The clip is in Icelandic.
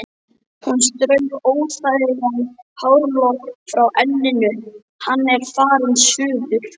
Hún strauk óþægan hárlokk frá enninu: Hann er farinn suður